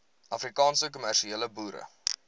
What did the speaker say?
afrikaanse kommersiële boere